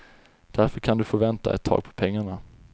Därför kan du få vänta ett tag på pengarna.